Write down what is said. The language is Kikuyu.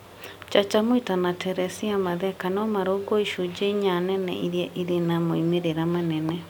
Chacha Mwita na Teresia Matheka no marũngwo icunjĩ inya nene iria irĩ na moimĩrĩro manene.